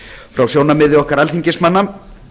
frá sjónarmiði okkar alþingismanna